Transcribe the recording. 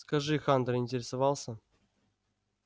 скажи хантер интересовался